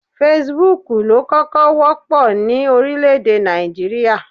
Fesibúùkù ló kọ́kọ́ wọ́pọ̀ ní orílẹ̀-èdè Nàìjíríà